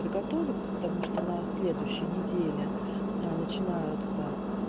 подготовится потому что на следующей неделе начинаются